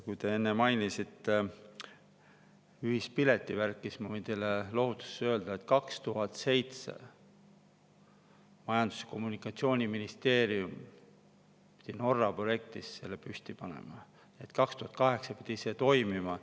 Kui te enne mainisite ühispiletivärki, siis ma võin teile lohutuseks öelda, et 2007. aastal Majandus‑ ja Kommunikatsiooniministeerium pidi Norra projekti abil selle püsti panema ja 2008. aastal pidi see toimima.